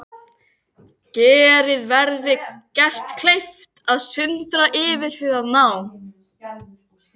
Þessum samþykktum má breyta að meira eða minna leyti síðar.